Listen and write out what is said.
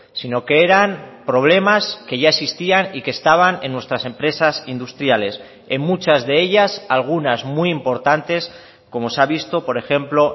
sino que eran problemas que ya existían y que estaban en nuestras empresas industriales en muchas de ellas algunas muy importantes como se ha visto por ejemplo